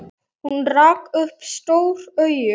Hún rak upp stór augu.